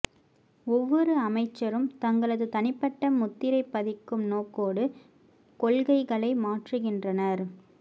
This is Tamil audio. ஒவ்வொரு அமைச்சரும் தங்களது தனிப்பட்ட முத்திரை பதிக்கும் நோக்கோடு கொள்கைகளை மாற்றுகின்றனர்